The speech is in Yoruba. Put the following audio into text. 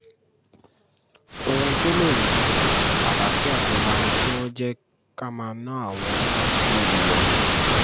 ohun tó lè mú àlàáfíà jọba ni kí wọ́n jẹ́ ká máa ná àwọn owó àtijọ́ yìí lọ